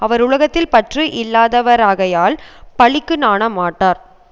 அவர் உலகத்தில் பற்று இல்லாதவராகையால் பழிக்கு நாண மாட்டார்